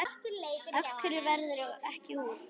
Af hverju ferðu ekki úr?